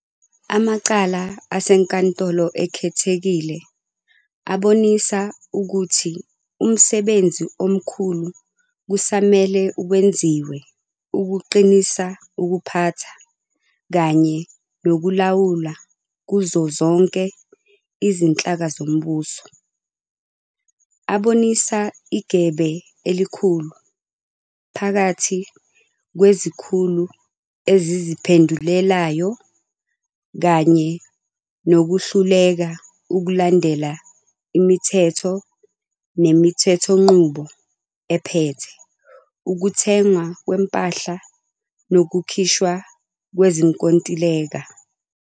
Amacala aseNkantolo Ekhethekile abonisa ukuthi umsebenzi omkhulu kusamele wenziwe ukuqinisa ukuphatha kanye nokulawula kuzo zonke izinhlaka zombuso. Abonisa igebe elikhulu phakathi kwezikhulu eziziphendulelayo kanye nokuhluleka ukulandela imithetho nemithethonqubo ephethe ukuthengwa kwempahla nokukhishwa kwezinkontileka.